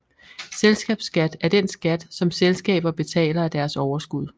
Selskabsskat er den skat som selskaber betaler af deres overskud